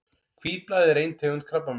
Hvítblæði er ein tegund krabbameina.